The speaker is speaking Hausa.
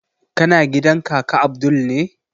Kana gidan kaka abdul ne?